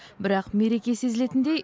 бірақ мереке сезілетіндей